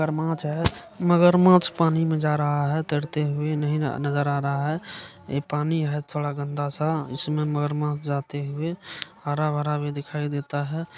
मगरमाछ है मगरमाछ पानी में जा रहा है तैरते हुए नहीं नगर आ रहा है ये पानी है थोड़ा गन्दा-सा इसमें मगरमाछ जाते हुए। हरा-भरा भी दिखाई देता है।